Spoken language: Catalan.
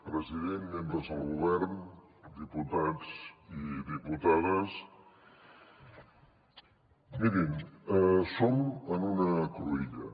president membres del govern diputats i diputades mirin som en una cruïlla